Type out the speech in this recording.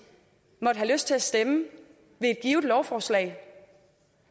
måtte have lyst til at stemme ved et givet lovforslag